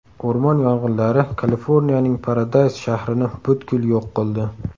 O‘rmon yong‘inlari Kaliforniyaning Paradays shahrini butkul yo‘q qildi.